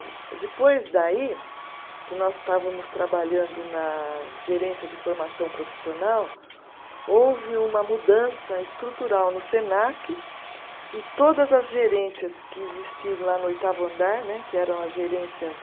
E depois daí, que nós estávamos trabalhando na gerência de formação profissional, houve uma mudança estrutural no Senac e todas as gerências que existiam lá no oitavo andar né, que eram as gerências